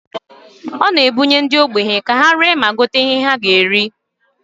Ọ na-ebunye ndị ogbenye ka were ree ma gota ihe ha ga eri.